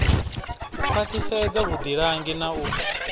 u khwaṱhisedza vhuḓilangi na u